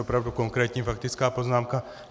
Opravdu konkrétní faktická poznámka.